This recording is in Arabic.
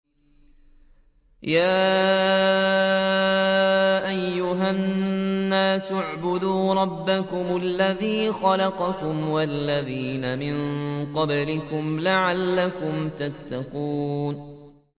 يَا أَيُّهَا النَّاسُ اعْبُدُوا رَبَّكُمُ الَّذِي خَلَقَكُمْ وَالَّذِينَ مِن قَبْلِكُمْ لَعَلَّكُمْ تَتَّقُونَ